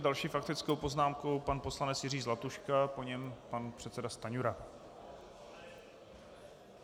S další faktickou poznámkou pan poslanec Jiří Zlatuška, po něm pan předseda Stanjura.